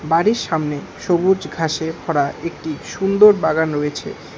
বাড়ির সামনে সবুজ ঘাসে ভরা একটি সুন্দর বাগান রয়েছে।